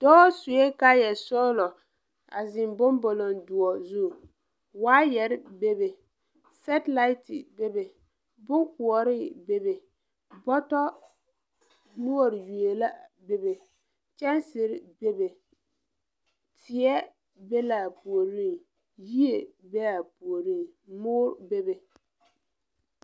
Dɔɔ sue kaaya sɔglɔ a zeŋ bombolo doɔ zu waayare bebe sɛtelate bebe bonkoɔre bebe bɔto noɔre yue la bebe kyɛnsere bebe teɛ be la a puoriŋ yie be a puoriŋ moɔ bebe.